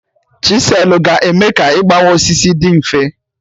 Chiselụ ga eme ka igbawa osisi dị mfe